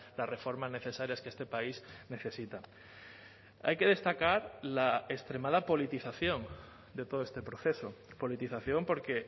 las reformas necesarias que este país necesita hay que destacar la extremada politización de todo este proceso politización porque